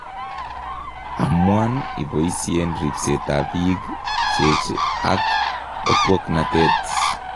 Amuan iboisien ripseet ab biik cheech ak otwognatet